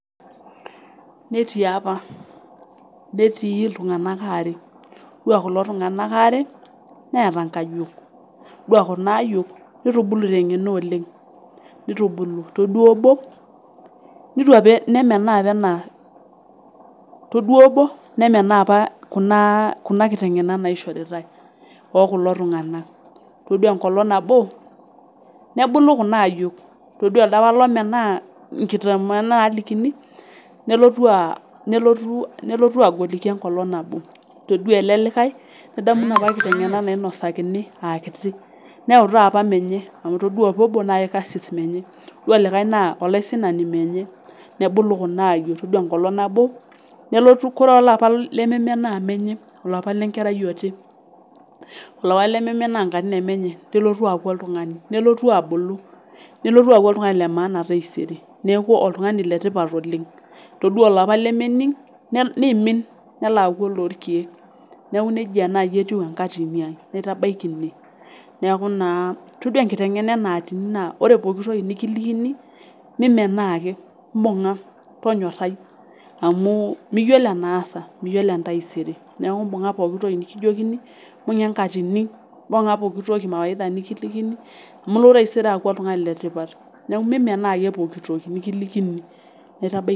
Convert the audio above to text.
Netii apa, netii ltunganak aare, ore kulo tunganak aare neeta inkaiyok, itodua kuna ayook neitubulu te ng'eno oleng, neitubulu itodua obo, nemenaa apa kuna kiteng'enat naishorita kulo tunganak, itodua enkolong nabo nebulu kuna ayok, itodua ilo lomenaa nkitengena naalikini nelotu agoliki enkolong nabo, itodua ale likae nedamu napa nkitengena nainosakini aaa kiti, neyau taata menye amu itodua apa obo na ekarsis menye, itodua likae naa olaisinani menye nebulu kuna ayok, itodua enkolong nabo nelotu kore apa lememenaaa menye, ilo apa le nkerai oti, ilo likae lememenaa nkatini emenye nelotu aaku ltungani, nelotu abulu, nelotu aaku ltungani le maana taisere, neaku oltungani le tipat oleng, itodua ilapa lememing',neiimin, nelo aaku noo ilkeek, neaku neja naii etiu enkatini nai naitabaki inie, neaku naa itodua nkitengena enaatini naa ore pooki toki nikilikini mimenaa ake, imbung'a tonyorai amuu miyolo enaasa, miyolo taiserr naaku imbung'a pooki toki nikijokini, imbung'a enkatini, imbung'a pooki toki mawaida nikilikini amu ilo taisere aaku oltungani le tipat naaku mimenaa ake pooki toki nikilikini, naita baki ine.